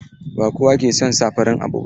Ba kowa ke son sa farin abu ba.